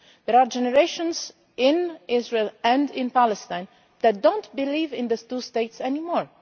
There are generations in Israel and in Palestine who do not believe in those two states anymore.